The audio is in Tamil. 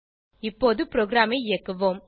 இப்போது ப்ரோகிராமை இயக்குவோம்